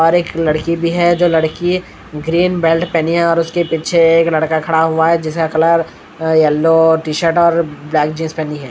और एक लड़की भी है जो लड़की ग्रीन बेल्ट पहनी है और उसके पीछे एक लड़का खड़ा हुआ है जिसका कलर अ येल्लो टी-शर्ट और ब्लैक जींस पहनी है।